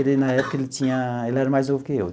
Ele, na época, ele tinha... Ele era mais novo que eu.